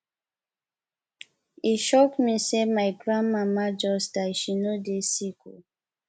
e shock me sey my grandmama just die she no dey sick o